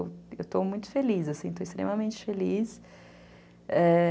Eu estou muito feliz, assim, estou extremamente feliz. É...